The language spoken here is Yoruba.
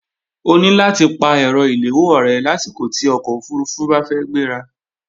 O ní láti pa ẹ̀rọ ìléwọ́ rẹ lásìkò tí ọkọ̀ òfurufú bá fẹ́ gbéra